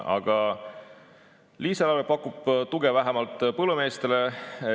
Aga lisaeelarve pakub tuge vähemalt põllumeestele.